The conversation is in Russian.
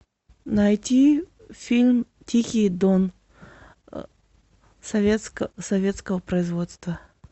найти фильм тихий дон советского производства